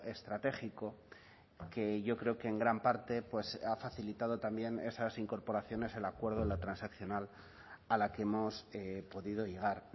estratégico que yo creo que en gran parte ha facilitado también esas incorporaciones al acuerdo en la transaccional a la que hemos podido llegar